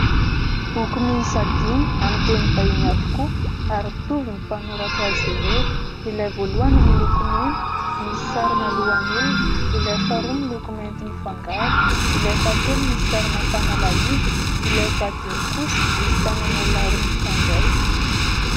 Boky miisa dimy amin'ny teny vahiny avokoa ary mitovy ny mpanoratra azy ireo. Ilay voalohany miloko mena misy sarina lohan'olona, ilay faharoa miloko mainty mifangaro, ilay fahatelo misy sarina fanalahidy, ilay fahadimy kosa misy tanan'olona roa mifandray.